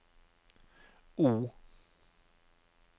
O